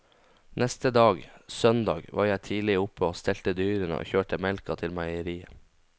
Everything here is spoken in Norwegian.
Neste dag, søndag, var jeg tidlig oppe og stelte dyrene og kjørte melka til meieriet.